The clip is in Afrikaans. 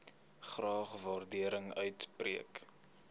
graag waardering uitspreek